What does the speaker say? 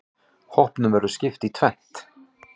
Hópnum verður skipt í tvennt.